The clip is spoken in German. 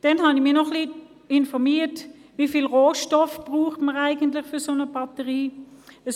Ich habe mich zudem informiert, wie viele Rohstoffe es für eine Batterie braucht.